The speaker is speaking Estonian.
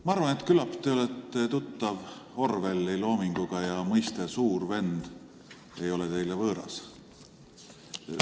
Ma arvan, et küllap te olete tuttav Orwelli loominguga ja mõiste "suur vend" ei ole teile võõras.